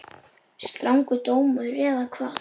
Strangur dómur eða hvað?